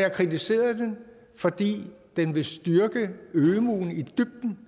jeg kritiserede det fordi det vil styrke ømuen i dybden